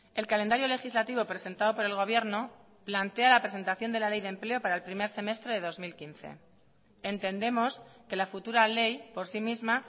el calendario legislativo presentado por el gobierno plantea la presentación de la ley de empleo para el primer semestre de dos mil quince entendemos que la futura ley por sí misma